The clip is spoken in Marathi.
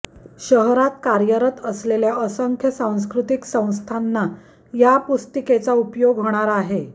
शहरात कार्यरत असलेल्या असंख्य सांस्कृतिक संस्थांना या पुस्तिकेचा उपयोग होणार आहे